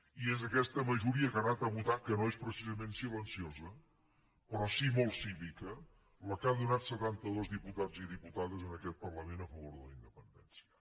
i és aquesta majoria que ha anat a votar que no és precisament silenciosa però sí molt cívica la que ha donat setantados diputats i diputades en aquest parlament a favor de la independència